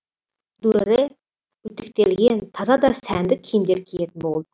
дүрэрэ үтіктелген таза да сәнді киімдер киетін болды